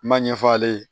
N m'a ɲɛfɔ ale ye